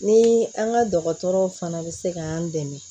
Ni an ka dɔgɔtɔrɔw fana bɛ se k'an dɛmɛ